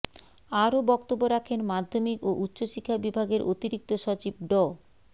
আরও বক্তব্য রাখেন মাধ্যমিক ও উচ্চশিক্ষা বিভাগের অতিরিক্ত সচিব ড